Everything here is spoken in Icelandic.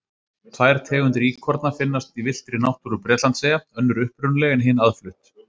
Tvær tegundir íkorna finnast í villtri náttúru Bretlandseyja, önnur upprunaleg en hin aðflutt.